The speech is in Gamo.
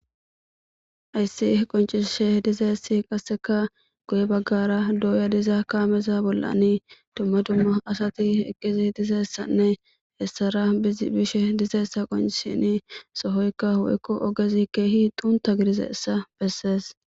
ayssi qoncishe dizeessi qasseka goye baggara dooya diza kaameza bollani dumma dumma asati eqqizi dizeessanne hessara bishe dizeessa qoncisini sohoykka hu7ekko ogezi keehi xunta gidizeessa bessees